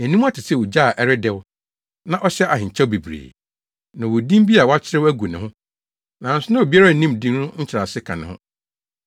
Nʼaniwa te sɛ ogya a ɛredɛw na ɔhyɛ ahenkyɛw bebree. Na ɔwɔ din bi a wɔakyerɛw agu ne ho, nanso na obiara nnim din no nkyerɛase ka ne ho.